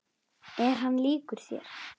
Er hann líkur þér?